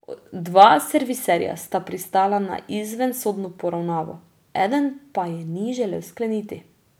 Dva serviserja sta pristala na izvensodno poravnavo, eden pa je ni želel skleniti.